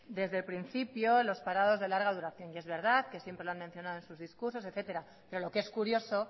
desde el principio los parados de larga duración y es verdad que siempre lo han mencionado en sus discursos etcétera pero lo que es curioso